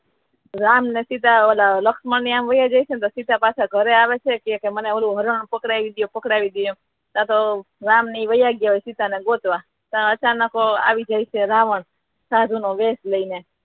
રામ અને સીતા લક્ષ્મણ વયા જાય છે તો સીતા પાછા ઘરે આવે છે મને ઓલું હરણ પકડાવી દયો પકડાવી દયો એમ તો રામ ની વયા ગયા સીતા ને ગોતવા ત્યાં અચાનક આવી જાય છે રાવણ સાધુ ના વેશ લઈને